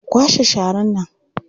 Ku kwashe sharar nan!